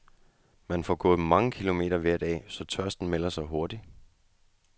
Man får gået mange kilometer hver dag, så tørsten melder sig hurtigt.